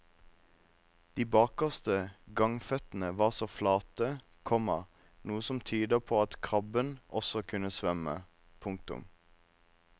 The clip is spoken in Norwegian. De bakerste gangføttene var flate, komma noe som tyder på at krabben også kunne svømme. punktum